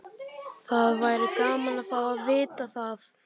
Það væri gaman að fá að vita það.